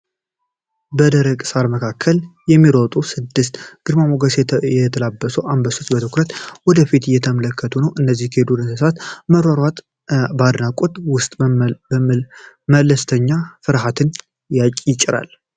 በደረቅ ሳር መካከል የሚሮጡት ስድስት ግርማ ሞገስ የተላበሱ አንበሶች በትኩረት ወደፊት እየተመለከቱ ነው። የእነዚህ የዱር እንስሳቶች መሯሯጥ በአድናቆት ውስጥ መለስተኛ ፍርሃትን ያጭራል።